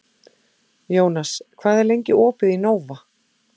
Jónas, hvað er lengi opið í Nova?